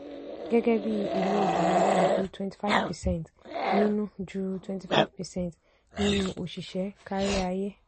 gẹ́gẹ́ bí ilo obìnrin kò ju twenty five percent nínú ju twenty five percent nínú òṣìṣẹ́ kárí ayé.